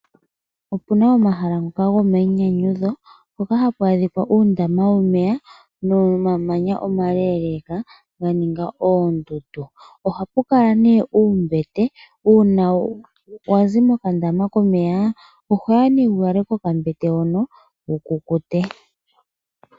Opuna omahala ngoka gomayinyanyudho hoka haku adhika uundama womeya nomamanya omaleeleka ga ninga oondundu. Oha pu kala ne uumbete uuna wazi mokandama komeya ohoya ne wu kale kokambete hono wu kukute.